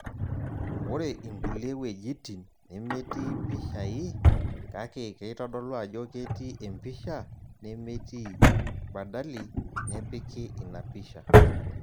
Ore inkulie wejitin nemetii mpishai, kake keitodolu ajo ketii empisha nemetii, badali nepiki ina pisha.